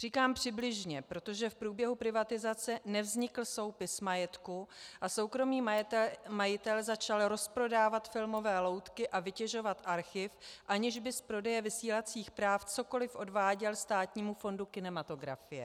Říkám přibližně, protože v průběhu privatizace nevznikl soupis majetku a soukromý majitel začal rozprodávat filmové loutky a vytěžovat archiv, aniž by z prodeje vysílacích práv cokoli odváděl Státnímu fondu kinematografie.